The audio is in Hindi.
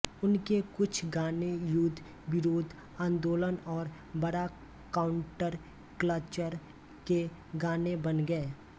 उनके कुछ गाने युद्ध विरोधी आंदोलन और बड़ा काउंटरकल्चर के गाने बन गये